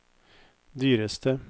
dyreste